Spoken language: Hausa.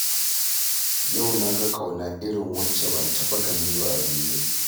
Yau na ga ƙauna irin wacce ban taɓa gani ba a duniya